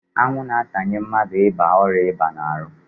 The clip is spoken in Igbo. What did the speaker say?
Anwụ na-atanye mmadụ ịba ọrịa ịba n'ahụ.